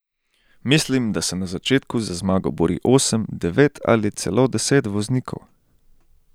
Mislim, da se na začetku za zmago bori osem, devet ali celo deset voznikov.